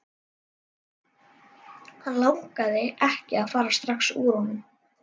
Hann langaði ekki að fara strax úr honum.